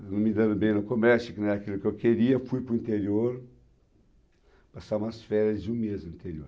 não me dando bem no comércio, que não era aquilo que eu queria, fui para o interior, passava as férias de um mês no interior.